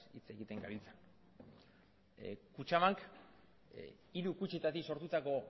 hitz egiten gabiltza kutxabank hiru kutxetatik sortutako